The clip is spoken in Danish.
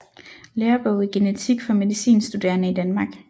Lærebog i genetik for medicinstuderende i Danmark